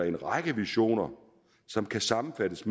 en række visioner som kan sammenfattes